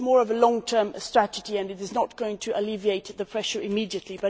This is more of a long term strategy, and it is not going to alleviate the pressure immediately.